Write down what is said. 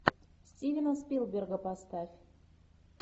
стивена спилберга поставь